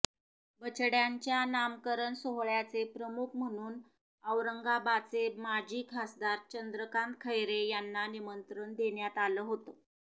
बछड्यांच्या नामकरण सोहळ्याचे प्रमुख म्हणून औरंगाबाचे माजी खासदार चंद्रकांत खैरे यांना निमंत्रण देण्यात आलं होतं